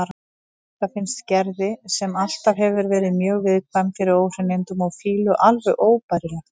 Þetta finnst Gerði, sem alltaf hefur verið mjög viðkvæm fyrir óhreinindum og fýlu, alveg óbærilegt.